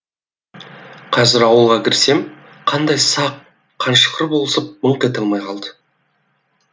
қазір ауылға кірсем қандай сақ қаншықшр болсып мыңқ ете алмай қалады